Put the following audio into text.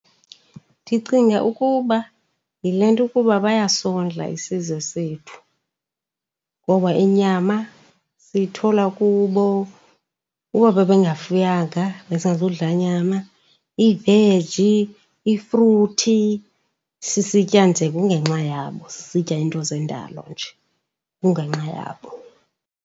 Ndicinga ukuba yile nto ukuba bayasondla isizwe sethu ngoba inyama siyithola kubo. Uba bebengafuyanga besingazudla nyama, iveji, ifruthi. Sisitya nje kungenxa yabo, sisitya iinto zendalo nje kungenxa yabo.